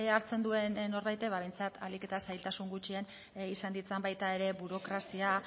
hartzen duen norbaitek behintzat ahalik eta zailtasun gutxien izan ditzan baita ere burokrazia